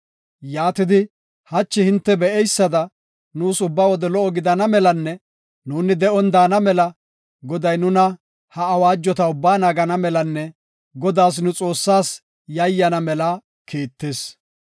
Yaatidi hachi hinte be7eysada nuus ubba wode lo77o gidana melanne nuuni de7on daana mela, Goday, ha awaajota ubbaa nuni naagana melanne Godaas nu Xoossaas yayyana mela kiittis.